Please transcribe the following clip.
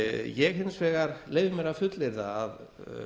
ég leyfi mér hins vegar að fullyrða að